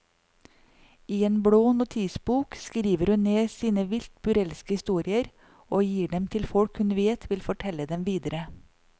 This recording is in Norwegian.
I en blå notisbok skriver hun ned sine vilt burleske historier og gir dem til folk hun vet vil fortelle dem videre.